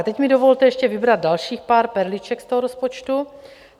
A teď mi dovolte ještě vybrat dalších pár perliček z toho rozpočtu.